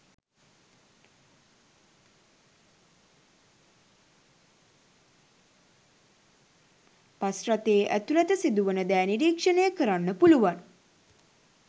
Bus රථයේ ඇතුළත සිදුවන දෑ නිරීක්ෂණය කරන්න පුළුවන්.